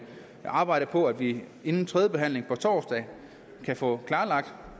arbejde på at vi inden tredjebehandlingen på torsdag kan få klarlagt